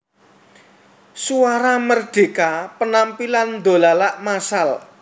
Suara Merdeka Penampilan Dolalak massal